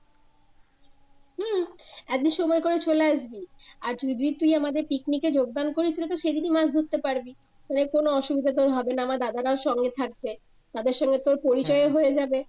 হম একদিন সময় করে চলে আসবি আর যদি তুই আমাদের পিকনিকে যোগদান করিস তাহলে তো সেদিনই মাছ ধরতে পারবি তোর কোন অসুবিধাই তো হবে না আমার দাদারা সকলে থাকবে তাদের সঙ্গে তোর পরিচয়ও হয়ে যাবে।